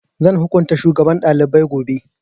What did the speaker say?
Zan hukunta shugaban ɗalibai gobe